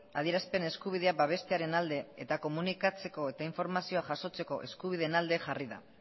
adierazpen eskubidea babestearen alde eta komunikatzeko eta informazioa jasotzeko eskubideen alde jarri da